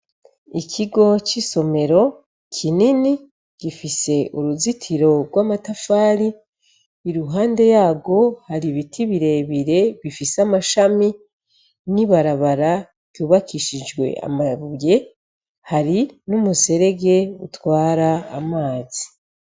Ikigo c'isomero kinini gifise uruzitiro rw'amatafari iruhande yarwo har'ibiti birebire bifise amashami n'ibarabara ryubakishijwe amabuye hari n’umuserege utwara amazi.